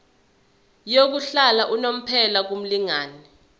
yokuhlala unomphela kumlingani